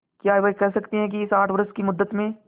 क्या वे कह सकती हैं कि इस आठ वर्ष की मुद्दत में